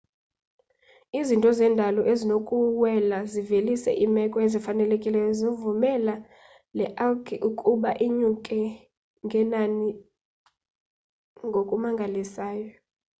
izinto zendalo zinokuwela zivelise iimeko ezifanelekileyo zivumela le algae ukuba inyuke ngenani ngokumangalisayo